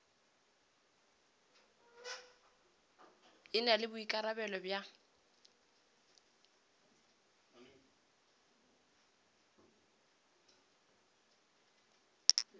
e na le boikarabelo bja